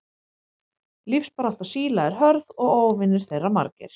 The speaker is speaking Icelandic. Lífsbarátta síla er hörð og óvinir þeirra margir.